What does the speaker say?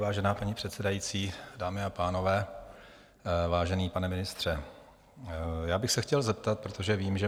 Vážená paní předsedající, dámy a pánové, vážený pane ministře, já bych se chtěl zeptat, protože vím, že